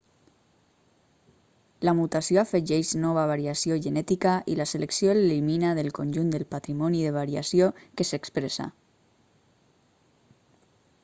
la mutació afegeix nova variació genètica i la selecció l'elimina del conjunt del patrimoni de variació que s'expressa